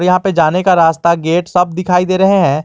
यहां पे जाने का रास्ता गेट सब दिखाई दे रहे हैं।